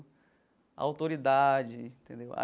A autoridade, entendeu?